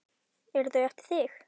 Eru þau eftir þig?